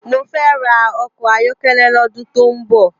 Mó fè rá òkò áyòkélé lòdún tó n bò